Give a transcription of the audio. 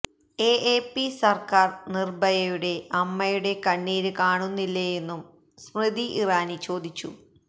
എഎപി സര്ക്കാര് നിര്ഭയയുടെ അമ്മയുടെ കണ്ണീര് കാണുന്നില്ലേയെന്നും സ്മൃതി ഇറാനി ചോദിച്ചു